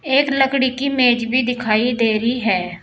एक लकड़ी की मेज भी दिखाई दे रही है।